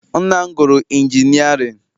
Nna m gụrụ injinịarịn.